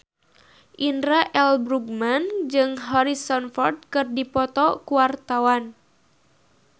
Indra L. Bruggman jeung Harrison Ford keur dipoto ku wartawan